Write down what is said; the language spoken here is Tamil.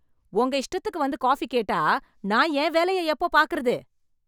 உங்க இஷ்டத்துக்கு வந்து காபி கேட்டா நான் என் வேலையை எப்போ பார்க்கிறது?